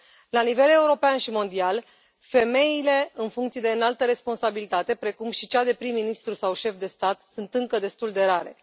La nivel european și mondial, femeile în funcții de înaltă responsabilitate, precum cea de prim ministru sau șef de stat, sunt încă destul de rare.